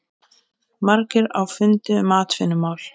Margir á fundi um atvinnumál